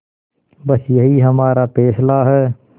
बस यही हमारा फैसला है